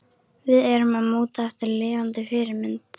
Við erum að móta eftir lifandi fyrirmynd.